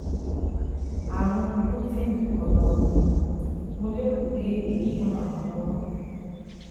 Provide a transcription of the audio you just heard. Ààrùn Gluten ọ̀nà ọ̀fun, mo lérò pé èyí ràn án lọ́wọ́